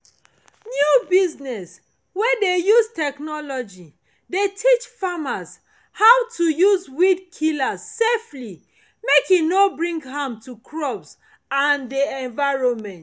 new business wey de use technology de teach farmers how to use weed killer safely make e no bring harm to crop and de environment